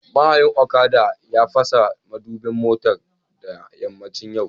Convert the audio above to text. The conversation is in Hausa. Mahayin Okada ya fasa madubin motar da yammacin yau